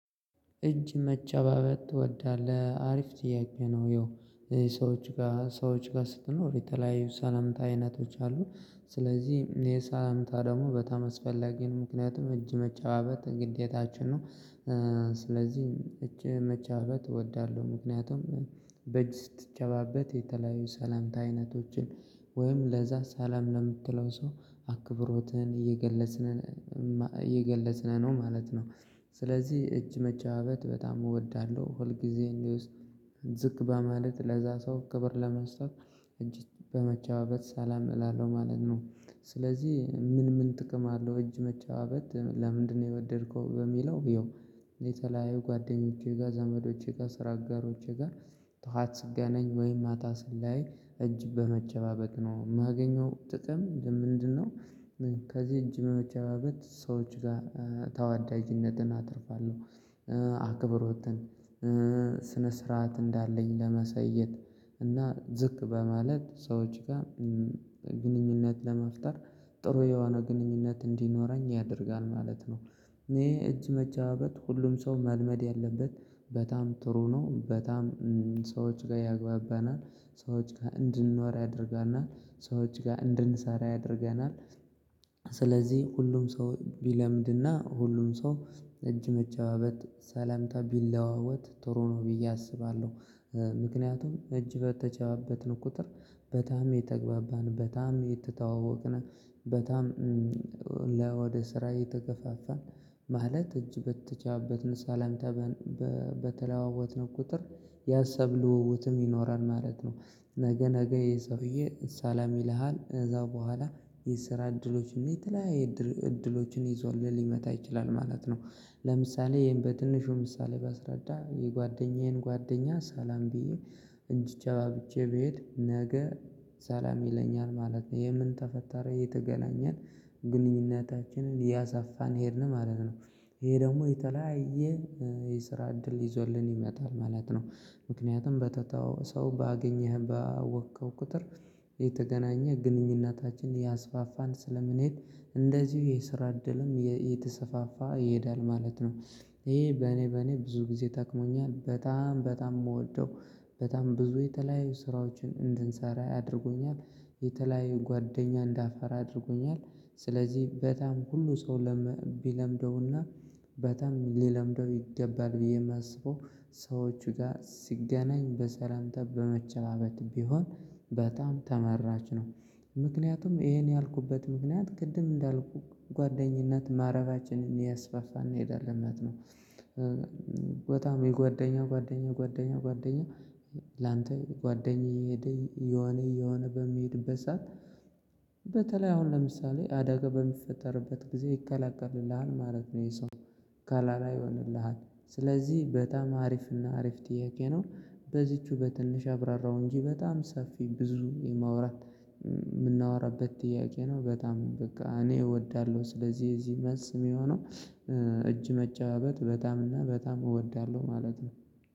እጅ መጨባበጥ ትወዳለህ አሪፍ ጥያቄ ነው? ያው ሰዎች ጋር ሰዎች ጋር ስትኖር የተለያዩ ሰላምታ አይነቶች አሉ። ስለዚህ የሰላምታ ደግሞ በጣም አስፈለጊ ነው ምክንያቱም እጅ መጨባበጥ ግዴታችን ነው። ስለዚህ እጅ መጨባበጥ እወዳለሁ ምክንያቱም በእጅ ስትጨባበጥ የተለያዩ ሰላምታ አይነቶችን ወይም ለዛ ሰላም ለምትለው ሰው አክብሮትህን እየገለጽን ነው ማለት ነው። ስለዚህ እጅ መጨባበጥ በጣም እወዳለሁ ሁል ጊዜ ዝቅ በማለት ለዛ ሰው ክብር ለመስጠት እጅ በመጨባበጥ ሰላም እላለሁ ማለት ነው። ስለዚህ ምን ምን ጥቅም አለው እጅ መጨባበጥ ለምንድነው የወደድከው በሚለው? ያው የተለያዩ ጓደኞቼ ጋር ዘመዶቼ ጋር ስራ አጋሮቼ ጋር ጥዋት ስገናኝ ወይ ማታ ስለያይ እጅ በመጨባበጥ ነው እማገኘው ጥቅም ምንድነው? ከዚህ እጅ በመጨባበጥ ሰዎች ጋር ተወዳጅነትን አትርፋለሁ። አክብሮትን ስነ ስርዓት እንዳለኝ ለማሳየት እና ዝቅ በማለት ሰዎች ጋር ግንኙነት ለመፍጠር ጥሩ የሆነ ግንኙነት እንዲኖረኝ ያደርጋል ማለት ነው። እኔ እጅ መጨባበጥ ሁሉም ሰው መልመድ ያለበት በጣም ጥሩ ነው። በጣም ሰዎች ጋር ያግባባናል ሰዎች ጋር እንድንኖር ያደርጋናል ሰዎች ጋር እንድንሰራ ያደርገናል። ስለዚህ ሁሉም ሰው ቢለምድና ሁሉም ሰው እጅ መጨባበጥ ሰላምታ ቢለዋወጥ ጥሩ ነው ብዬ አስባለሁ። ምክንያቱም እጅ በተጨባበጥን ቁጥር በጣም እየተግባባን በጣም እየተዋወቅን በጣም ለወደ ስራ የተከፋፋን ማለት እጅ በተጨባበጥን ሳላምታ በተለዋወጥን ቁጥር የሀሳብ ልውውጥም ይኖራል ማለት ነው። ነገ ነገ ይሄ ሰውዬ ሳላም ይልሃል ከዛ በኋላ የስራ እድሎች የተለያየ እድሎችን ይዞልህ ሊመጣ ይችላል ማለት ነው። ለምሳሌ ይሄን በትንሹ ምሳሌ ባስረዳ የጓደኛዬን ጓደኛ ሰላም ብዬ እጅ ተጨባብጨ ብሄድ ነገ ሰላም ይለኛል ማለት ነው። ይኸ ምን ተፈጠረ እየተገናኘን ግንኙነታችንን እያሰፋን ሄድን ማለት ነው። ይሄ ደግሞ የተለያየ የስራ እድል ይዞልን ይመጣል ማለት ነው። ምክንያቱም በተተው ሰው ባገኘህ ባወቅከው ቁጥር እየተገናኘ ግንኙነታችን እያስፋፋን ስለምንሄድ እንደዚሁ የስራ እድልም እየተሰፋፋ ይሄዳል ማለት ነው። ይሄ በኔ በኔ ብዙ ጊዜ ጠክሞኛል በጣም በጣም እምወደው በጣም ብዙ የተለያዩ ስራዎችን እንድንሰራ ያደርጉኛል የተለያዩ ጓደኛ እንዳፈራ አድርጎኛል። ስለዚህ በጣም ሁሉ ሰው ቢለምደውና በጣም ሊለምደው ይገባል ብዬ እማስበው ሰዎች ጋር ሲገናኝ በሰላምታ በመጨባበጥ ቢሆን በጣም ተመራጭ ነው። ምክንያቱም ይሄን ያልኩበት ምክንያት ቅድም እንዳልኩህ ጓደኝነት መረባችንን እያስፋፋን እንሄዳለን ማለት ነው። በጣም የጓደኛ ጓደኛ ጓደኛ ጓደኛ ላንተ የጓደኛ እየሄደ እየሆነ እየሆነ በሚሄድበት ሰዓት በተለይ አሁን ለምሳሌ አደጋ በሚፈጠርበት ጊዜ ይከላከልልሃል ማለት ነው ይሄ ሰው ከለላ ይሆንልሃል። ስለዚህ በጣም አሪፍና አሪፍ ጥያቄ ነው። በዚችው በትንሽ አብራራው እንጂ በጣም ሰፊ ብዙ የማውራት እምናወራበት ጥያቄ ነው። በጣም በቃ እኔ እወዳለሁ ስለዚህ እዚህ መልስ እሚሆነው እጅ መጫባበጥ በጣም እና በጣም እወዳለሁ ማለት ነው።